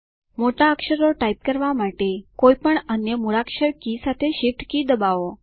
મોટા અક્ષરો ટાઇપ કરવા માટે કોઈપણ અન્ય મૂળાક્ષર કી સાથે શિફ્ટ કી દબાવો